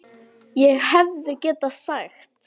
ÉG HEFÐI GETAÐ SAGT